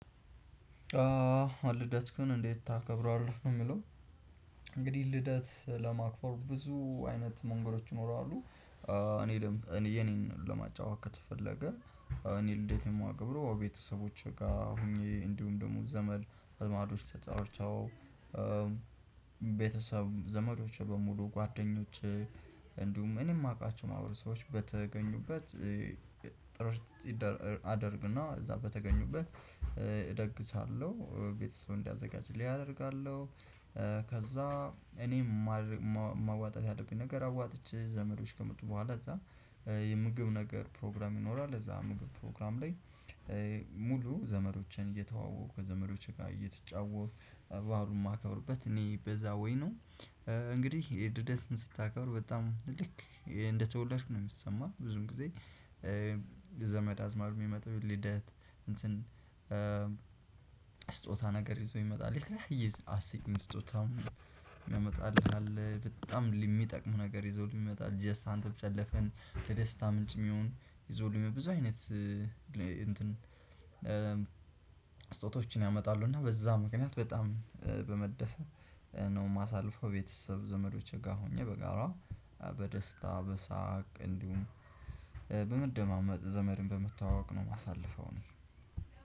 ልደትክን እዴት ታከብረዋለህ? እግዲህ ልደት ለማክበር ብዙ አይነት መገዶች ይኖራሉ እኔ ደሞ እኔ የኔን ለማጫወቻ ከተፈለገ እኔ ልደት የማከብረው ቤተሰቦቼ ጋር ሆኜ እንዲሁ ደግሞ ዘመድ አዝማዶች ተጠርተው ቤተሰብ፣ ዘመዶቸ በሙሉ ጓደኞች እንዲሁም እኔ የማውቃቸው ማህበረሰቦች በተገኙበት ጥርት አደርግና እዛ በተገኙበት እደግሳለሁ። ቤተሰብ እንዲያዘጋጅልኝ አደርጋለሁ። ከዛ እኔም ማድረግ፣ ማዋጣት ያለብኝን ነገር አዋጥቼ ዘመዶች ከመጡ በኋላ እዛ የምግብ ነገር ፕሮግራም ይኖራል እዛ ምግብ ፕሮግራም ላይ ሙሉ ዘመዶችን እየተዋወቁ ከዘመዶች ጋር እየተጫወትኩ ባሉን የማከብርበት እኔ በዛ ዌይ ነው እንግዲህ ልደትክን ስታከብር በጣም ልክ እንደተወለድክ ነው የሚሰማህ። ብዙውን ጊዜ ዘመድ አዝማድ የሚመጣው ልደት እንትን ስጦታ ነገር ይዞ ይመጣልኝ የተለያየ አስቂኝ ስጦታ የሚያመጣልህ አለ በጣም የሚጠቅም ነገር ይዞልኝ ይመጣል ጀስት አንተ ብቻ ለፈን ለደስታ ምንጭ የሚሆን ይዞልኝ ብዙ አይነት እንትን ስጦታዎችን ያመጣሉ እና በዛ ምክንያት በጣም በመደሰት ነው የማሳልፈው ቤተሰብ ዘመዶቼ ጋር ሆኜ በጋራ በደስታ በሳቅ እንዲሁም በመደማመጥ ዘመድን በመተዋወቅ ነው የማሳልፈው እኔ።